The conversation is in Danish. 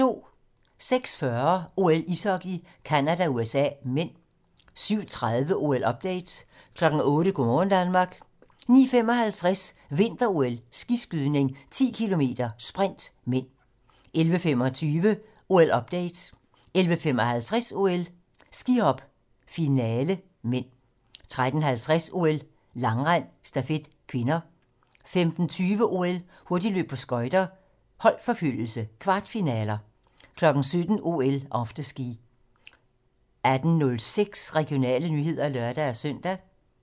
06:40: OL: Ishockey - Canada-USA (m) 07:30: OL-update 08:00: Go' morgen Danmark 09:55: Vinter-OL: Skiskydning - 10 km sprint (m) 11:25: OL-update 11:55: OL: Skihop - finale (m) 13:50: OL: Langrend - stafet (k) 15:20: OL: Hurtigløb på skøjter - holdforfølgelse, kvartfinaler 17:00: OL: Afterski 18:06: Regionale nyheder (lør-søn)